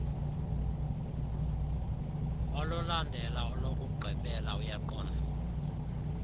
olulandela olokugqibela uyaqonda